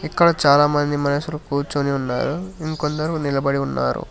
ఇక్కడ చాలా మంది మనుషులు కూర్చొని ఉన్నారు ఇంకొందరు నిలబడి ఉన్నారు.